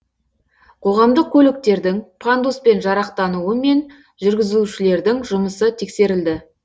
қоғамдық көліктердің пандуспен жарақтануы мен жүргізушілердің жұмысы тексерілді